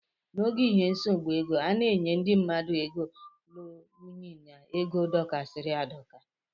N' ógè ihe nsogbu ego, ana enye ndị mmadụ ego lụrụ ụnyi na égo dokasiri adoka.